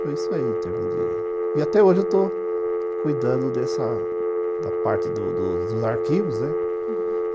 Foi isso aí, em termos de... E até hoje eu estou cuidando dessa... da parte dos dos arquivos, né? uhum.